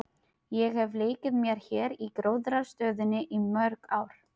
Ég hef leikið mér hér í gróðrarstöðinni í mörg ár.